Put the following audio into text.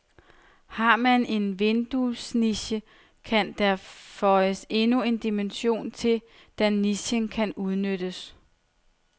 Har man en vinduesniche, kan der føjes endnu en dimension til, da nichen kan udnyttes.